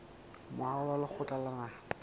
moaho wa lekgotla la naha